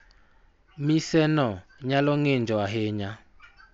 Mise no nyalo ng�injo ahinya.